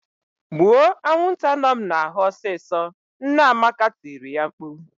"Gbuo anwụnta nọ m n'ahụ ọsịsọ!" Nne Amaka tiri ya mkpu..